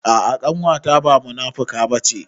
A'a ƙanwata ba munafuka bace